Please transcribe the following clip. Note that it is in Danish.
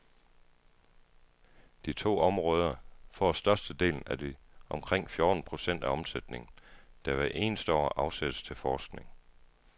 De to områder får størstedelen af de omkring fjorten procent af omsætningen, der hvert år afsættes til forskning.